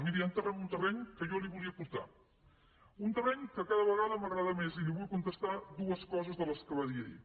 miri ara entraré en un terreny a què jo li volia portar un terreny que cada vegada m’agrada més i li vull contestar dues coses de les que va dir ahir